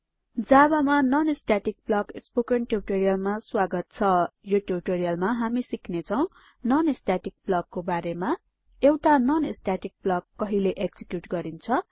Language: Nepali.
javaमा non स्टेटिक ब्लक स्पोकन ट्युटोरियलमा स्वागत छ यो ट्युटोरियलमा हामी सिक्नेछौं non स्टेटिक blockको बारेमा एउटा non स्टेटिक ब्लक कहिले एक्जिक्युट गरिन्छ